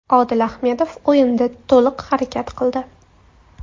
Odil Ahmedov o‘yinda to‘liq harakat qildi.